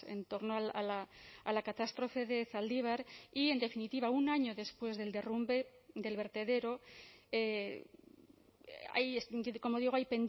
en torno a la catástrofe de zaldibar y en definitiva un año después del derrumbe del vertedero hay como digo hay